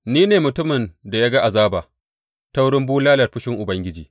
Ni ne mutumin da ya ga azaba ta wurin bulalar fushin Ubangiji.